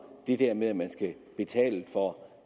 det der med at man skal betale for